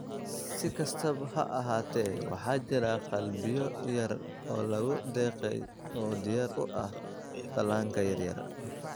Si kastaba ha ahaatee, waxaa jira qalbiyo yar oo lagu deeqay oo diyaar u ah dhallaanka yaryar.